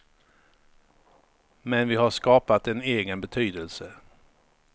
Men vi har skapat en egen betydelse.